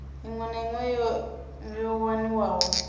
iṅwe na iṅwe yo waniwaho